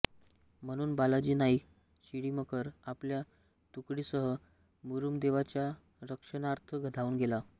म्हणून बालाजी नाईक शिळीमकर आपल्या तुकडीसह मुरुमदेवाच्या रक्षणार्थ धावून गेला